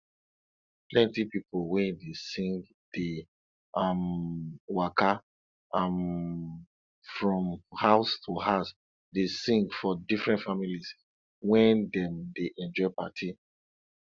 plenty pipo wey dey sing dey um waka um from house to house dey sing for different families when dem dey enjoy party